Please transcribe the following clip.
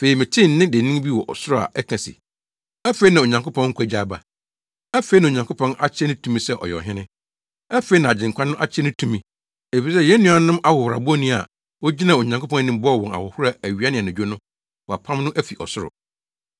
Afei metee nne dennen bi wɔ ɔsoro a ɛka se, “Afei na Onyankopɔn nkwagye aba! Afei na Onyankopɔn akyerɛ ne tumi sɛ ɔyɛ Ɔhene! Afei na nʼAgyenkwa no akyerɛ ne tumi, efisɛ yɛn nuanom no ahohorabɔni a ogyinaa Onyankopɔn anim bɔɔ wɔn ahohora awia ne anadwo no, wɔapam no afi ɔsoro.